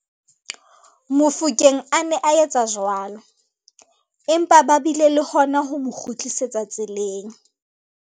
Mofokeng a ne a etsa jwalo, empa ba bile le hona ho mo kgutlisetsa tseleng.